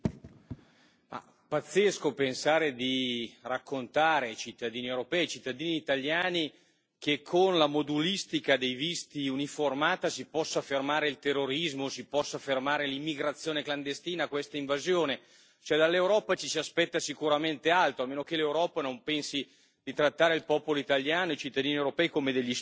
Signor Presidente, onorevoli colleghi, è pazzesco pensare di raccontare ai cittadini europei, ai cittadini italiani che con la modulistica dei visti uniformata si possa fermare il terrorismo, si possa fermare l'immigrazione clandestina, questa invasione. Cioè dall'Europa ci si aspetta sicuramente altro, a meno che l'Europa non pensi di trattare il popolo italiano e i cittadini europei come degli stupidi.